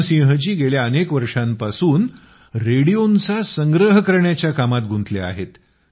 रामसिंह जी गेल्या अनेक वर्षापासून रेडिओंचा संग्रह करण्याच्या कामात जोडले आहेत